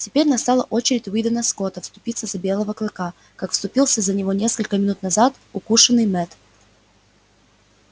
теперь настала очередь уидона скотта вступиться за белого клыка как вступился за него несколько минут назад укушенный мэтт